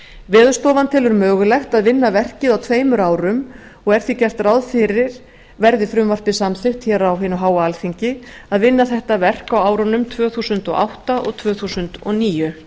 veðurstofan telur mögulegt að vinna verkið á tveimur árum og er því gert ráð fyrir verði frumvarpið samþykkt hér á hinu háa alþingi að vinna þetta verk á árunum tvö þúsund og átta til tvö þúsund og níu